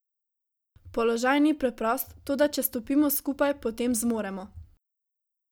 Položaj ni preprost, toda če stopimo skupaj, potem zmoremo.